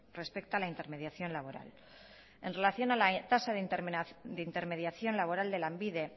respecta la intermediación laboral en relación a la tasa de intermediación laboral de lanbide